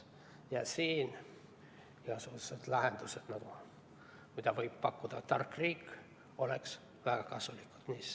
Ja siin igasugused lahendused, mida võib pakkuda tark riik, oleks väga kasulikud.